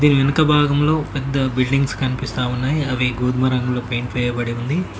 దీని వెనుక భాగంలో పెద్ద బిల్డింగ్స్ కనిపిస్తా ఉన్నై అవీ గోధుమ రంగులో పేయింట్ వేయబడి ఉంది.